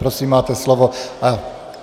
Prosím, máte slovo.